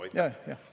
Aitäh!